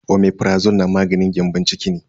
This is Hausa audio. Omeprazole na maganin gyambon ciki ne.